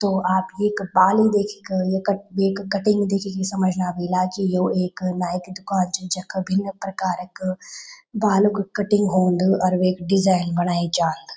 तो आप येका बालू देखिक य कट येक कटिंग देखिंकी समझना ह्वेला की यो एक नाई की दुकान च जख भिन्न प्रकार क बालू क कटिंग हून्द और वेक डिजाईन बणेई जान्द।